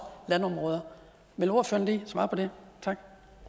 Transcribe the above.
landområder vil ordføreren lige svare på det tak